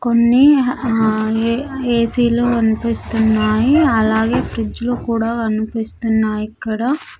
కొన్ని హా A-- AC లు కనిపిస్తున్నాయి అలాగే ఫ్రిడ్జ్ లు కూడా కనిపిస్తున్నాయి ఇక్కడ.